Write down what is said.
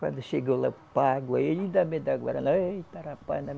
Quando chego lá, pago, ainda me dá guaraná, eita rapaz